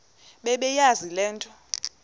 bebeyazi le nto